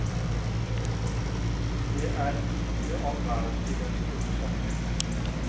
Det er ikke all verden i den store sammenhengen.